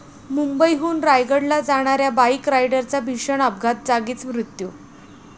मुंबईहून रायगडला जाणाऱ्या बाईक रायडरचा भीषण अपघात, जागीच मृत्यू